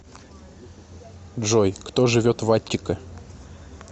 джой кто живет в аттика